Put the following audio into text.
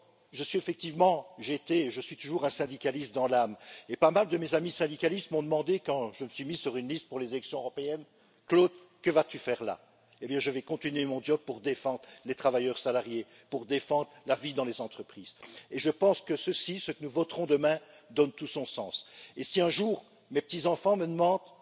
Je suis effectivement, j'étais et je suis toujours un syndicaliste dans l'âme et pas mal de mes amis syndicalistes m'ont demandé, quand je me suis mis sur une liste pour les élections européenne Claude que vas tu faire là? Eh bien, je vais continuer mon job pour défendre les travailleurs salariés, pour défendre la vie dans les entreprises, et je pense que ceci, ce que nous voterons demain, donne tout son sens. Et si un jour mes petits enfants me demandent